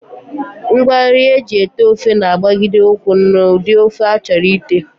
Ngwanri e ji ete ofe na-agbagide ụkwụ n'ụdị ofe a chọrọ ite